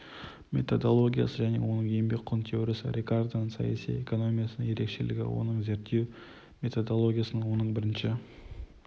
методологиясы және оның еңбек құн теориясы рикардоның саяси экономиясының ерекшелігі оның зерттеу методологиясында оның бірінші